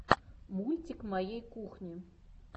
мультик моей кухни